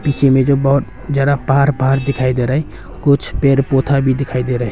पीछे में जो है बहुत जरा पहाड़ पहाड़ दिखाई दे रहा है कुछ पेड़ पौधा भी दिखाई दे रहे है।